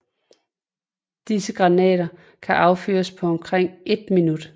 Disse granater kan affyres på omkring et minut